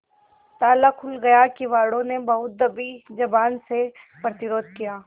ताला खुल गया किवाड़ो ने बहुत दबी जबान से प्रतिरोध किया